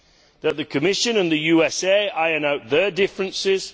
that the Commission and the USA iron out their differences